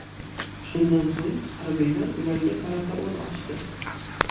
Shundan so‘ng harbiylar ularga qarata o‘t ochdi.